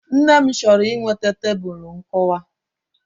Nne m chọrọ iweta Tebulu nkụwa